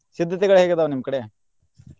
ಸಿದ್ದತೆಗಳ್ ಹೇಗ್ ಅದಾವ್ ನಿಮ್ಮ್ ಕಡೆ?